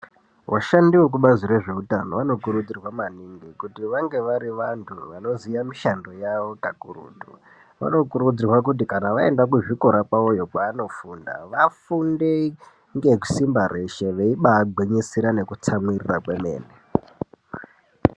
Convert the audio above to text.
Vashandi vekubazi rezveutano vanokurudzirwa maningi kuti vange varivantu vanoziva mishando yavo kakurutu vanokurudzirwa kuti kana vaenda kuzvikora kwavoyo kwaanofunda vafunde ngesimba reshe veibagwinyisira nekutsamwiria kwemene.